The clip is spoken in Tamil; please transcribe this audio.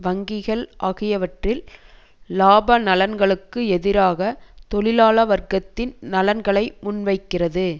வங்கிகள் ஆகியவற்றில் இலாப நலன்களுக்கு எதிராக தொழிலாள வர்க்கத்தின் நலன்களை முன்வைக்கிறது